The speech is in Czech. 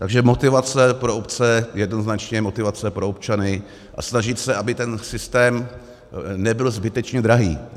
Takže motivace pro obce, jednoznačně motivace pro občany a snažit se, aby ten systém nebyl zbytečně drahý.